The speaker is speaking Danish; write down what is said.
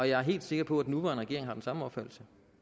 jeg er helt sikker på at den nuværende regering har den samme opfattelse